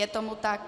Je tomu tak.